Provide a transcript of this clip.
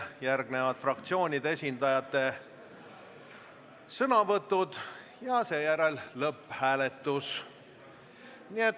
Järgnevad fraktsioonide esindajate sõnavõtud ja siis tuleb lõpphääletus.